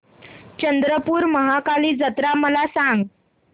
चंद्रपूर महाकाली जत्रा मला सांग